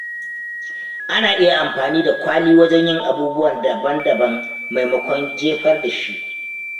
Ana iya amfani da kwali wajen yin abubuwa daban-daban maimakon jefar da shi.